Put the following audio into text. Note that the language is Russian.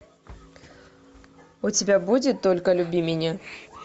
у тебя будет только люби меня